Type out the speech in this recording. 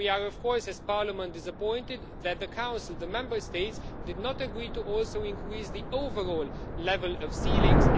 We are of course as a Parliament disappointed that the Council, the Member States, did not agree to increase the overall level of ceilings.